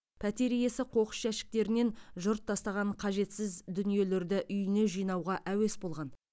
пәтер иесі қоқыс жәшіктерінен жұрт тастаған қажетсіз дүниелерді үйіне жинауға әуес болған